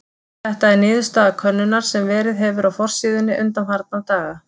Þetta er niðurstaða könnunar sem verið hefur á forsíðunni undanfarna daga.